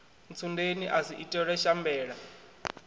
ntsundeni a si itelwe shambela